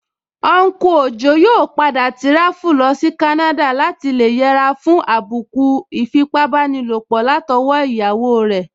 Unku Ojo yóò padà tíráfù lọsí Canada láti lè yẹra fún àbùkù ìfipábánilòpọ̀ látọwọ́ iyawo rẹ̀